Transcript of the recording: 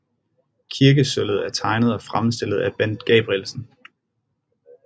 Kirkesølvet er tegnet og fremstillet af Bent Gabrielsen